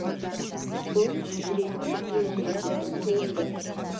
бұл жүректі елжірететін туынды